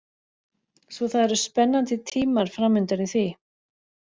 Svo það eru spennandi tímar framundan í því.